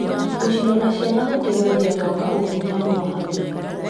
Gũcirora ciana gũteithagia gwaka ũkuruhanu wa hakuhĩ.